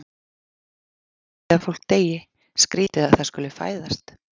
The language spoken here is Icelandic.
Það er skrýtið að fólk deyi, skrýtið að það skuli fæðast.